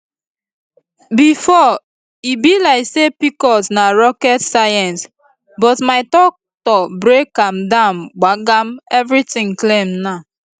before e be like say pcos na rocket science but my doctor break am down gbagam everything clear now